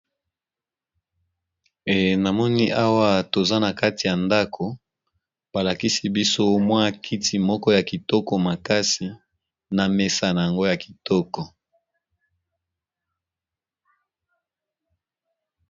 Eh na moni awa toza na kati ya ndako, ba lakisi biso mwa kiti moko ya kitoko makasi na mesa nango ya kitoko.